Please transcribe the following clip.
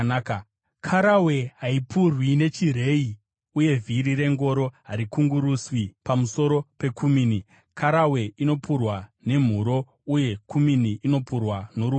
Karawe haipurwi nechireyi, uye vhiri rengoro harikunguruswi pamusoro pekumini; karawe inopurwa nemhuro uye kumini inopurwa norumuti.